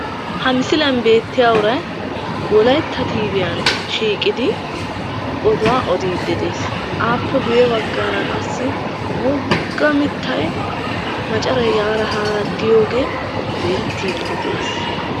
Ha misiliyaan bettiya uray wolaytta Tiviyaan shiiqidi oduwaa odidde des; appe ya baggara qassi wogga mittay macaray yaara haara diyooge beettide des.